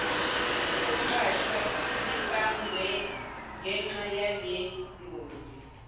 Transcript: somqashwa sibangwe ngenxayalengozi